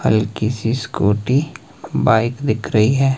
हल्की सी scooty bike दिख रही है।